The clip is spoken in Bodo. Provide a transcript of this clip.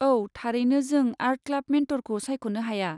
औ, थारैनो जों आर्ट क्लाब मेन्टरखौ सायख'नो हाया।